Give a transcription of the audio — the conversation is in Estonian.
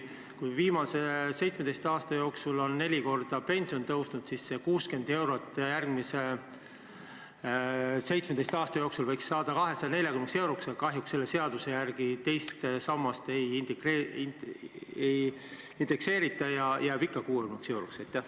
Kui viimase 17 aasta jooksul on pension neli korda kasvanud, siis järgmise 17 aasta jooksul võiks sellest 60 eurost saada 240 eurot, aga kahjuks selle seaduse järgi teist sammast ei indekseerita ja 60 eurot jääb ikka 60 euroks.